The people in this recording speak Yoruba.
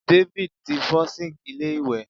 David ti fo sink ilé iwe